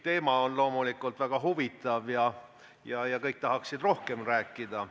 Teema on loomulikult väga huvitav ja kõik tahaksid rohkem rääkida.